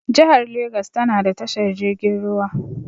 Jihar legas tana da tashar jirgin ruwa.